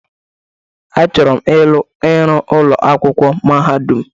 Achọrọ m ịrụ ụlọ akwụkwọ mahadụm.